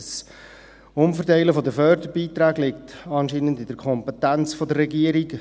Das Umverteilen der Förderbeiträge liegt anscheinend in der Kompetenz der Regierung.